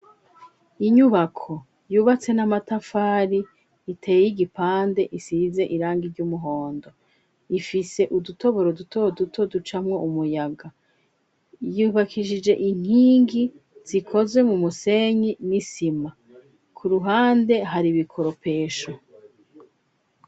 Inyubako yubatse n'amatafari iteye igipande isize irangi ry'umuhondo. Ifise udutoboro dutoduto ducamwo umuyaga, yubakisije inkingi zikozwe mu musenyi n'isima ku ruhande hari ibikoropesho.